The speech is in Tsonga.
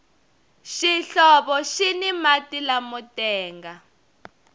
xihlovo xini mati lamo tenga